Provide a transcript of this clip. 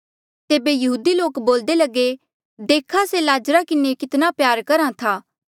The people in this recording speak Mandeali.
तेबे यहूदी लोक बोल्दे लगे देखा से लाजरा किन्हें कितना प्यार करहा था